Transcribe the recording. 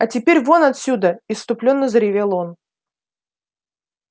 а теперь вон отсюда исступлённо заревел он